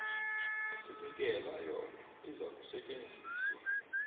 osinikela yona izakusetjenziswa